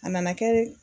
A nana kɛ